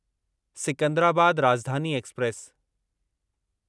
Secunderabad Rajdhani express